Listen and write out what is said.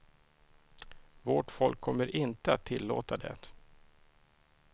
Vårt folk kommer inte att tillåta det.